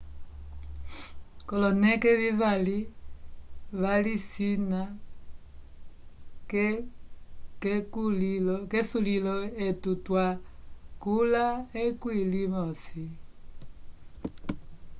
kolonele vivali valisina kesulilo etu twa yula ekwi li mosi